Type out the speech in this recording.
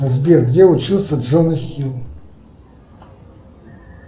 сбер где учился джона хилл